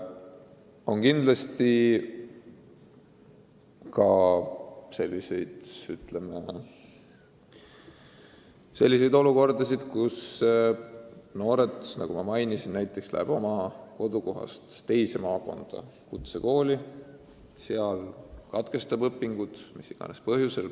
On ka selliseid olukordi, nagu ma enne märkisin, et noor inimene läheb oma kodukohast teise maakonda kutsekooli, aga seal katkestab õpingud mis iganes põhjusel.